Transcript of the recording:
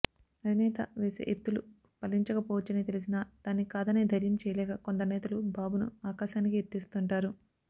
అధినేత వేసే ఎత్తులు పలించకపోవచ్చని తెలిసినా దాన్ని కాదనే ధైర్యం చేయలేక కొందరు నేతలు బాబును ఆకాశానికి ఎత్తేస్తుంటారు